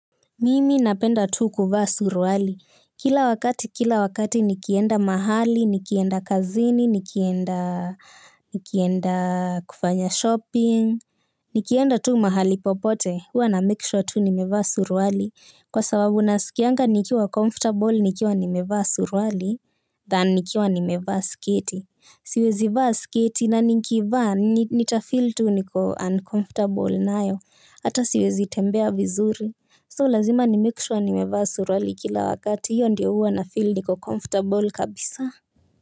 Mimi napenda tu kuvaa suruali. Kila wakati, kila wakati nikienda mahali, nikienda kazini, nikienda kufanya shopping, nikienda tu mahali popote, uwa na make sure tu nimevaa suruali. Kwa sababu nasikianga nikiwa comfortable nikiwa nimevaa suruali Than nikiwa nimevaa sketi. Siwezi vaa sketi na nikivaa nitafeel tu niko uncomfortable nayo. Hata siwezi tembea vizuri So lazima ni make sure nimevaa suruali kila wakati hiyo ndiyo huwa nafeel niko comfortable kabisa.